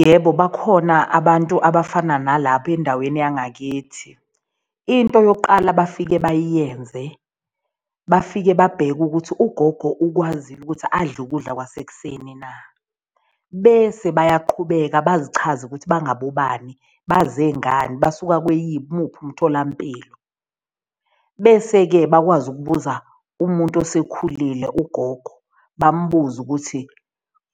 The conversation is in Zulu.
Yebo, bakhona abantu abafana nalaba endaweni yangakithi. Into yokuqala bafike bayenze bafike babheke ukuthi ugogo ukwazile ukuthi adle ukudla kwasekuseni na? Bese bayaqhubeka bazichaze ukuthi bangabobani, baze ngane, basuka muphi umtholampilo? Bese-ke bakwazi ukubuza umuntu osekhulile ugogo, bambuze ukuthi